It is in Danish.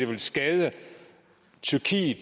tage de